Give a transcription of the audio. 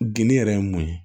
Geni yɛrɛ ye mun ye